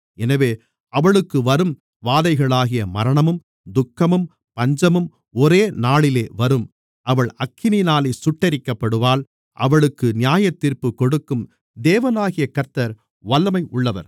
எனவே அவளுக்கு வரும் வாதைகளாகிய மரணமும் துக்கமும் பஞ்சமும் ஒரே நாளிலே வரும் அவள் அக்கினியினாலே சுட்டெரிக்கப்படுவாள் அவளுக்கு நியாயத்தீர்ப்பு கொடுக்கும் தேவனாகிய கர்த்தர் வல்லமை உள்ளவர்